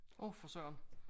Åh for Søren